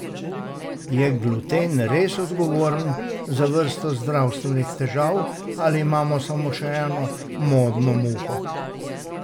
Je gluten res odgovoren za vrsto zdravstvenih težav ali imamo samo še eno modno muho?